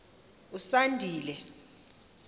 usandile